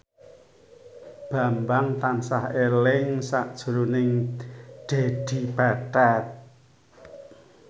Bambang tansah eling sakjroning Dedi Petet